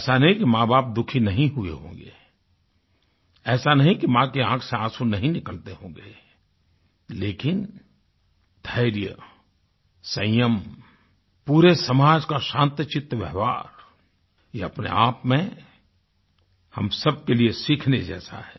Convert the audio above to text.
ऐसा नहीं कि माँबाप दुखी नहीं हुए होंगे ऐसा नहीं कि माँ के आँख से आँसूं नहीं निकलते होंगे लेकिन धैर्य संयम पूरे समाज का शान्तचित्त व्यवहार ये अपने आप में हम सबके लिए सीखने जैसा है